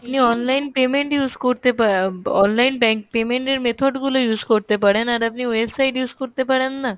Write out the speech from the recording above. আপনি online payment use করতে পা online bank payment এর method গুলো use করতে পারেন আর আপনি website use করতে পারেন না